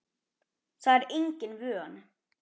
Það er engin vörn.